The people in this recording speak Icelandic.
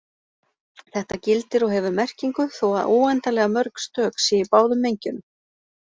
Þetta gildir og hefur merkingu þó að óendanlega mörg stök séu í báðum mengjunum.